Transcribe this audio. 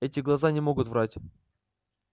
эти глаза не могут врать